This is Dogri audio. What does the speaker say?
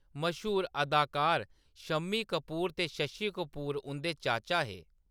मश्हूर अदाकार शम्मी कपूर ते शशि कपूर उंʼदे चाचा हे।